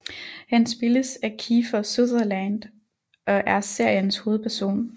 Han spilles af Kiefer Sutherland og er seriens hovedperson